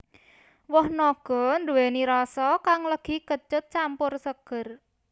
Woh naga nduwèni rasa kang legi kecut campur seger